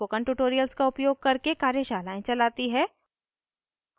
spoken tutorials का उपयोग करके कार्यशालाएं चलाती है